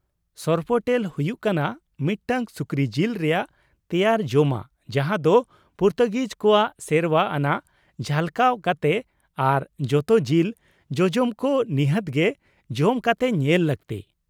ᱥᱚᱨᱯᱳᱴᱮᱞ ᱦᱩᱭᱩᱜ ᱠᱟᱱᱟ ᱢᱤᱫᱴᱟᱝ ᱥᱩᱠᱨᱤ ᱡᱤᱞ ᱨᱮᱭᱟᱜ ᱛᱮᱭᱟᱨ ᱡᱚᱢᱟᱜ ᱡᱟᱦᱟᱸ ᱫᱚ ᱯᱩᱨᱛᱩᱜᱤᱡ ᱠᱚᱣᱟᱜ ᱥᱮᱨᱣᱟ ᱟᱱᱟᱜ ᱡᱷᱟᱞᱠᱟᱣ ᱠᱟᱛᱮ ᱟᱨ ᱡᱚᱛᱚ ᱡᱤᱞ ᱡᱚᱡᱚᱢ ᱠᱚ ᱱᱤᱦᱟᱹᱛ ᱜᱮ ᱡᱚᱢ ᱠᱟᱛᱮ ᱧᱮᱞ ᱞᱟᱹᱠᱛᱤ ᱾